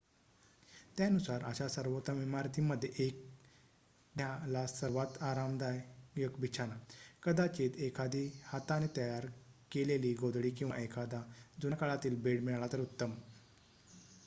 त्यानुसार अशा सर्वोत्तम इमारतींमध्ये 1 द्या ला सर्वात आरामदायक बिछाना कदाचित एखादी हाताने तयर केलेली गोधडी किंवा एखादा जुन्या काळातील बेड मिळाला तर उत्तम